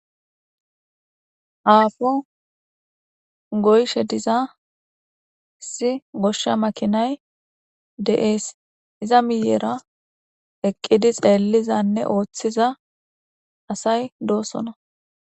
aafo goyshe diza isi goshsha makinay de7ees iza miyeera eqqidi xeellizanne ooththiza asay doosona